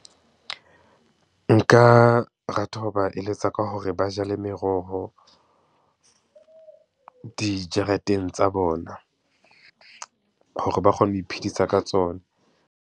Nka rata ho ba eletsa ka hore ba jale meroho dijareteng tsa bona, hore ba kgone ho iphedisa ka tsona.